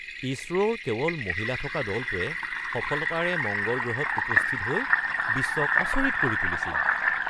ইছৰোৰ কেৱল মহিলা থকা দলটোৱে সফলতাৰে মঙ্গল গ্ৰহত উপস্থিত হৈ বিশ্বক আচৰিত কৰি তুলিছিল।